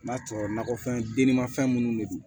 N'a sɔrɔ nakɔfɛn denninma fɛn minnu de don